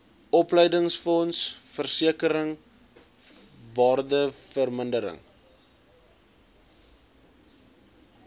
opleidingsfonds versekering waardevermindering